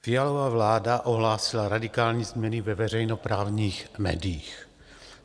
Fialova vláda ohlásila radikální změny ve veřejnoprávních médiích.